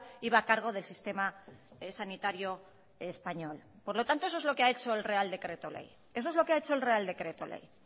iba a cargo del sistema sanitario español por lo tanto eso es lo que ha hecho el real decreto ley eso es lo que ha hecho el real decreto ley